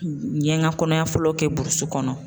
N ye n ka kɔnɔya fɔlɔ kɛ burusi kɔnɔ